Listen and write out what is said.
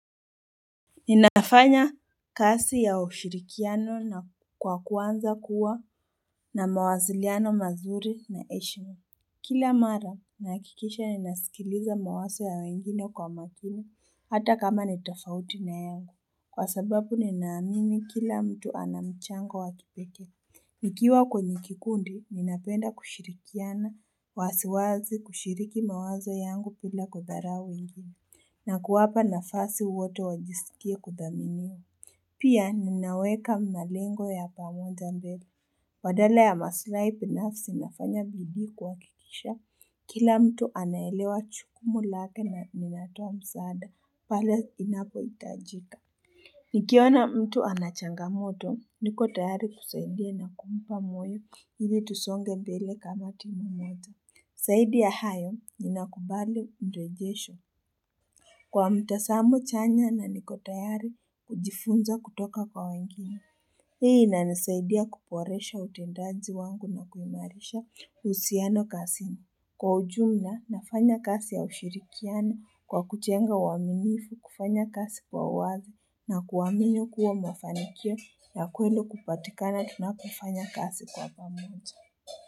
Inafanya kazi ya ushirikiano na kwa kuanza kuwa na mawasiliano mazuri na heshima. Kila mara nahakikisha ninasikiliza mawazo ya wengine kwa makini hata kama nitofauti na yangu. Kwa sababu ninaamini kila mtu anamchango wakipekee. Nikiwa kwenye kikundi ninapenda kushirikiana waziwazi kushiriki mawazo yangu bila kudharau wengine. Na kuwapa nafasi wote wajisikie kudhaminiwa. Pia ninaweka malengo ya pamoja mbele. Badala ya maslahi binafsi nafanya bidii kwa kuhakikisha. Kila mtu anaelewa jukumu lake na ninatoa msaada. Pale inapo itajika. Nikiona mtu anachanga moto. Nikotayari kusaidia na kumpa moyo ili tusonge mbele kama timu moja. Zaidi ya hayo ninakubali mrejesho. Kwa mtazamo chanya na nikotayari kujifunza kutoka kwa wengine. Hii inanisaidia kuboresha utendaji wangu na kuimarisha uhusiano kazini. Kwa ujumla nafanya kazi ya ushirikiana kwa kujenga uaminifu kufanya kazi kwa wazi na kuamini kuwa mafanikio na kweli kupatikana tunapofanya kazi kwa pamoja.